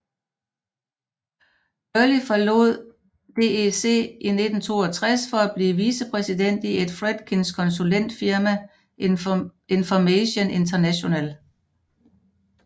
Gurley forlod DEC i 1962 for at blive vice president i Ed Fredkins konsulentfirma Information International